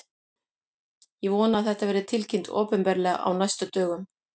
Ég vona að þetta verði tilkynnt opinberlega á næstu dögum.